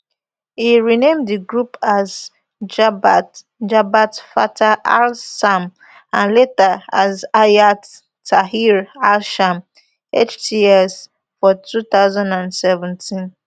e rename di group as jabhat jabhat fatah alsham and later as hayat tahrir alsham hts for two thousand and seventeen